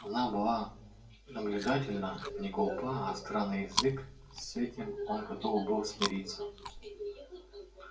она была наблюдательна не глупа остра на язык с этим он готов был смириться